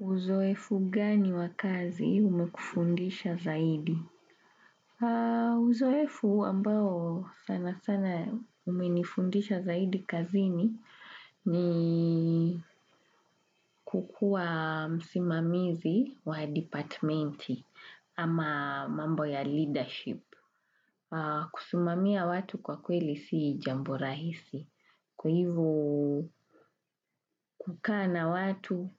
Uzoefu gani wakazi umekufundisha zaidi? Uzoefu ambao sana sana umenifundisha zaidi kazini ni kukua msimamizi wa departamenti ama mambo ya leadership. Kusimamia watu kwa kweli si jambo rahisi. Kwa hivu, kukana watu,